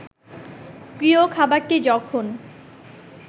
প্রিয় খাবারটি যখন